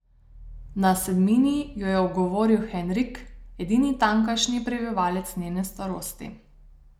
Na sedmini jo ogovori Henrik, edini tamkajšnji prebivalec njene starosti.